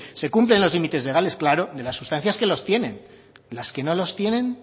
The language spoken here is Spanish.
se cumplen los límites legales claro de las sustancias que los tienen las que no los tienen